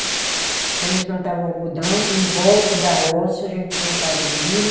Então, eles plantava o algodão em volta da roça, a gente plantava milho.